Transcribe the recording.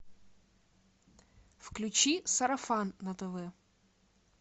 включи сарафан на тв